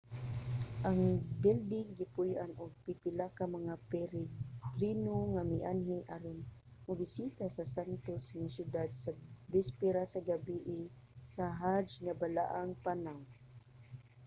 ang bilding gipuy-an og pipila ka mga peregrino nga mianhi aron mobisita sa santos nga syudad sa bisperas sa gabie sa hajj nga balaang panaw